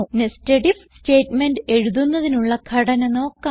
nested IF statement എഴുതുന്നതിനുള്ള ഘടന നോക്കാം